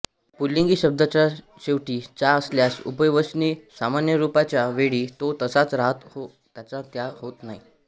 पुल्लिंगी शब्दाच्या शेवटी जा असल्यास उभयवचनी सामान्यरूपाच्या वेळी तो तसाच राहतो त्याचा ज्या होत नाही